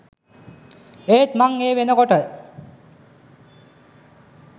ඒත් මං ඒ වෙනකොට